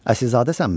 Əsilzadəsənmi?